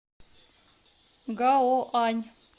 гаоань